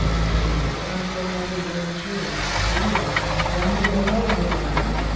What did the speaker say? હા ઉતરાયણ પર મારો ઈરાદો છે કે જઈએ ફરવા family લઇને આવું ઘરે તારા